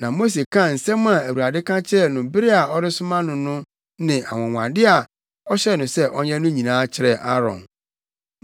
Na Mose kaa nsɛm a Awurade ka kyerɛɛ no bere a ɔresoma no no ne anwonwade a ɔhyɛɛ no sɛ ɔnyɛ no nyinaa kyerɛɛ Aaron.